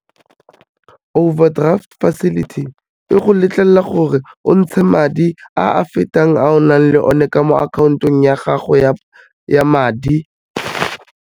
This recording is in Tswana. Overdraft facility, e go letlelela gore o ntshe madi a a fetang a o nang le one ka mo akhaontong ya gago ya madi.